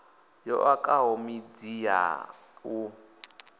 yo okaho midzi ya u